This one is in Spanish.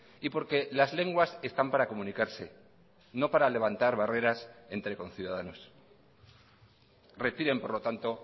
y porque las lenguas están para comunicarse no para levantar barreras entre conciudadanos retiren por lo tanto